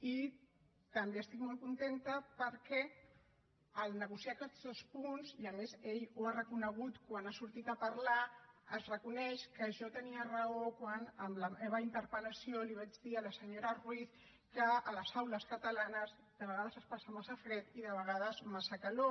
i també estic molt contenta perquè al negociar aquests dos punts i a més ell ho ha reconegut quan ha sortit a parlar es reconeix que jo tenia raó quan en la meva interpel·lació li vaig dir a la senyora ruiz que a les aules catalanes de vegades es passa massa fred i de vegades massa calor